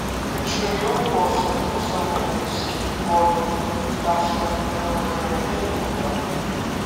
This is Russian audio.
хочу милку со вкусом альпийских гор там чтобы было карамель и нуга